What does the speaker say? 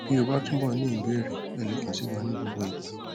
bí o ba túbọ ní ìbéèrè ẹ lè kàn sí wa ní gbogbo ìgbà